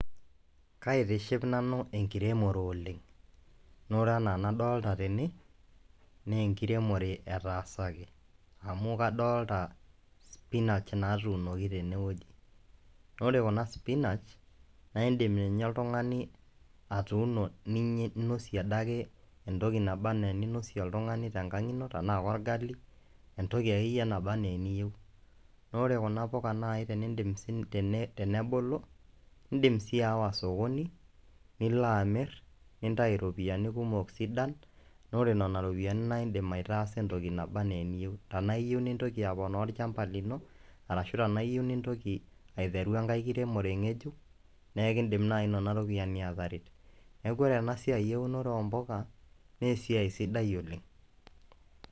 Kaitiship nanu enkiremore oleng' naa ore enaa enadolta tene nee enkiremore etaasaki amu kadolta spinach naatunoki tene woji naa ore kuna spinach naa iindim ninye oltung'ani atuuno niny ninosie ade ake entoki naba naa eninosie oltung'ani tekang' ino tenaa ake orgali, entoki ake yie naba naa eniyeu naa orekuna puka nai teniindim sii teni tenebulu, indim sii aawa sokoni, nilo amir nintayu iropiani kumok sidan naa ore nena ropiani naa iindim aitaasa entoki naba naa eniyeu. Tanaa iyeu nintoki aponaa olchamba lino arashu tanaa iyeu nintoki aiteru enkae kiremore ng'ejuk nee kiindim nai nena ropiani aataret. Neeku ore ena siai eunore oo mpuka naa esiai sidai oleng'.